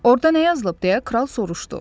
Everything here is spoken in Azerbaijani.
Orda nə yazılıb deyə kral soruşdu.